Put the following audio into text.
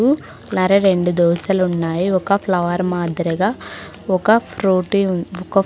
హ్మ్మ్ మరి రెండు దోశలున్నాయి ఒక ఫ్లవర్ మాద్రిగ ఒక ఫ్రూటీ ఉన్ ఒక --